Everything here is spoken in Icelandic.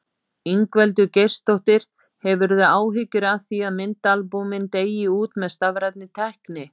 Ingveldur Geirsdóttir: Hefurðu áhyggjur af því að myndaalbúmin deyi út með stafrænni tækni?